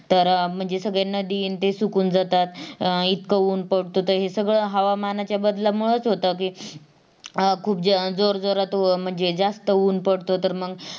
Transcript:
तर अं म्हणजे सगळे नदी आणि ते सुकुन जातात अं इतक उन्ह पडत हे सगळं हवामानाच्या बदलामुळेच होत कि अं खूप जोर जोरात म्हणजे जास्त उन्ह पडत तर मंग